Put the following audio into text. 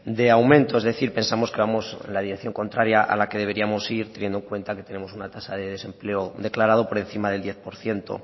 de aumento es decir pensamos que vamos en la dirección contraria a la que deberíamos ir teniendo en cuenta que tenemos una tasa de desempleo declarado por encima del diez por ciento